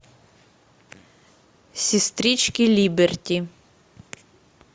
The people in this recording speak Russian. сестрички либерти